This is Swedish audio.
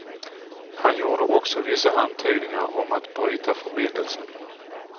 Han gjorde också vissa antydningar om att bryta förbindelsen.